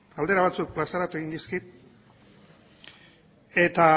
galdera batzuk plazaratu egin dizkit eta